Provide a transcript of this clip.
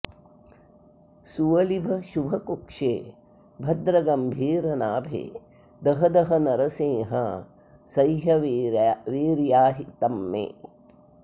सुवलिभ शुभ कुक्षे भद्र गंभीरनाभे दह दह नरसिंहासह्यवीर्याहितंमे